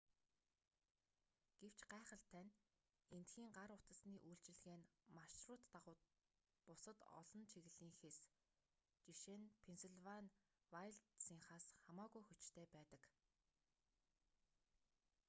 гэвч гайхалтай нь эндхийн гар утасны үйлчилгээ нь маршрут дагуух бусад олон чиглэлийнхээс ж.нь пеннсилвани вайлдсынхаас хамаагүй хүчтэй байдаг